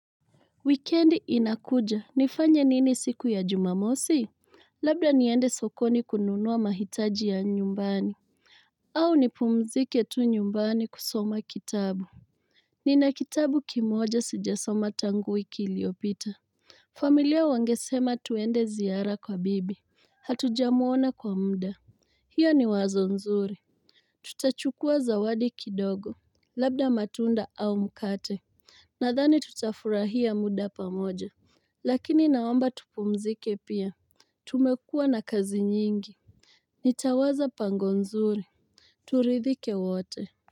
Wikendi inakuja, nifanye nini siku ya jumamosi? Labda niende sokoni kununua mahitaji ya nyumbani. Au nipumzike tu nyumbani kusoma kitabu. Nina kitabu kimoja sijasoma tangu wiki iliopita. Familia wangesema twende ziara kwa bibi. Hatujamuona kwa mda. Hio ni wazo nzuri. Tutachukua zawadi kidogo. Labda matunda au mkate. Nadhani tutafurahia muda pamoja. Lakini naomba tupumzike pia Tumekuwa na kazi nyingi Nitawaza pango nzuri turidhike wote.